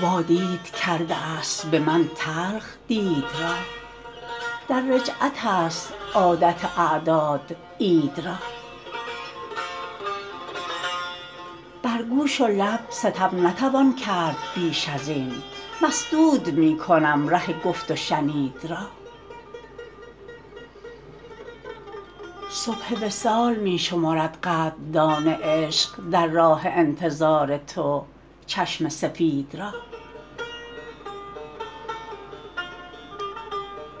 وادید کرده است به من تلخ دید را در رجعت است عادت اعداد عید را بر گوش و لب ستم نتوان کرد بیش ازین مسدود می کنم ره گفت و شنید را صبح وصال می شمرد قدردان عشق در راه انتظار تو چشم سفید را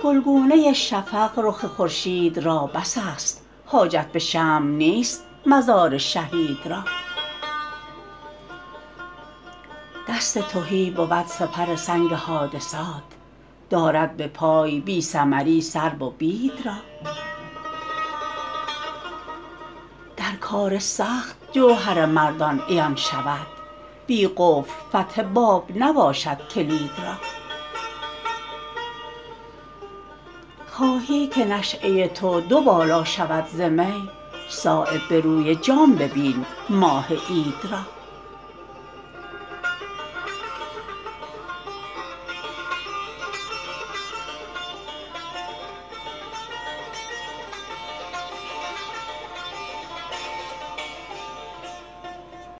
گلگونه شفق رخ خورشید را بس است حاجت به شمع نیست مزار شهید را دست تهی بود سپر سنگ حادثات دارد بپای بی ثمری سرو و بید را در کار سخت جوهر مردان عیان شود بی قفل فتح باب نباشد کلید را خواهی که نشأه تو دوبالا شود ز می صایب به روی جام ببین ماه عید را